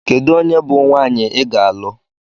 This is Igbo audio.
Kedu onye bụ nwaanyị ị ga-alụ?